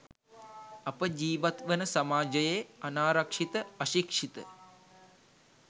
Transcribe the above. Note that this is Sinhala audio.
අප ජීවත්වන සමාජයේ අනාරක්‌ෂිත අශික්‌ෂිත